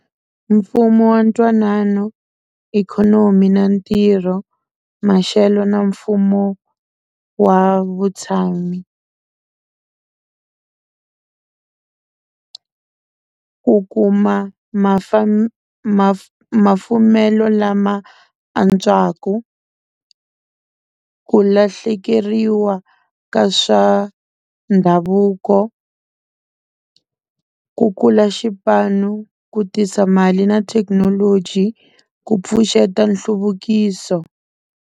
Mfumo wa ntwanano ikhonomi na ntirho maxelo na mfumo wa vutshami ku kuma mafumelo lama antswaka ku lahlekeriwa ka swa ndhavuko ku kula xipano ku tisa mali na thekinoloji ku pfuxeta nhluvukiso.